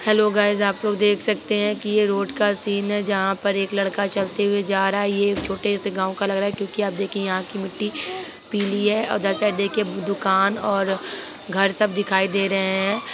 Hello guys आप लोग देख सकते हैं कि ये रोड का सीन है जहां पे एक लड़का चलते हुए जा रहा है ये एक छोटे से गांव का लग रहा है क्यू के आप देखे यहां की मिट्टी पिली है और उधर साइड देखिये दुकान और घर सब दिखाई दे रहे हैं।